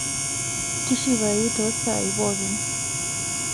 tishipayu too saa ai pookin